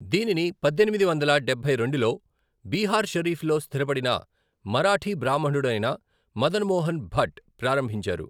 దీనిని పద్దెనిమిది వందల డబ్బై రెండులో బీహార్ షరీఫ్లో స్థిరపడిన మరాఠీ బ్రాహ్మణుడైన మదన్ మోహన్ భట్ ప్రారంభించారు.